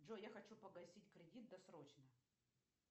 джой я хочу погасить кредит досрочно